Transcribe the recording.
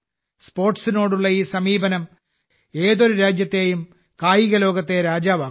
സ്പോർട്സിനോടുള്ള ഈ സമീപനം ഏതൊരു രാജ്യത്തെയും കായിക ലോകത്തെ രാജാവാക്കുന്നു